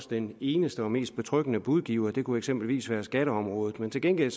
den eneste og mest betryggende budgiver det kunne eksempelvis være på skatteområdet men til gengæld